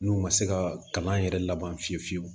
N'u ma se ka kalan yɛrɛ laban fiye fiyewu